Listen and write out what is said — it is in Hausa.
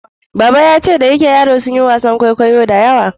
Baba yace da yake yaro sunyi wasan kwaikwayo da yawa